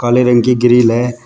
काले रंग की ग्रिल है।